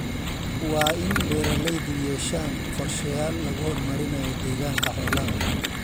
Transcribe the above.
Waa in beeralaydu yeeshaan qorshayaal lagu horumarinayo deegaanka xoolaha.